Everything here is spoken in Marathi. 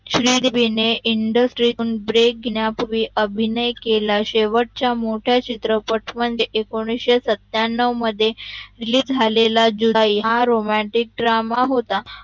श्री देविणे इंडस्ट्रीतून Break घेण्या पूर्वी अभिनय केला शेवटचा मोठा चित्रपट म्हणजे मध्ये एकोणविशे सत्यांनव मध्ये release झालेला जुदाई हा Romantic drama होता